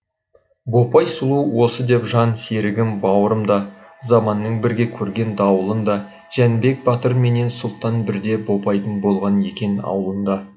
бопай сұлу осы деп жан серігім бауырым да заманның бірге көрген дауылын да жәнібек батырменен сұлтан бірде бопайдың болған екен ауылында